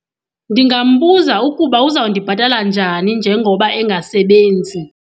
Ndingambuza ukuba uzawundibhatala njani njengoba engasebenzi.